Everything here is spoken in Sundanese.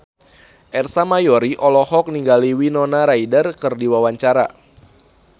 Ersa Mayori olohok ningali Winona Ryder keur diwawancara